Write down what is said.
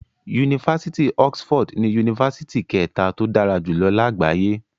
Yunifásitì Oxford ni Yunifásitì kẹta tó dára jùlọ lágbàáyé.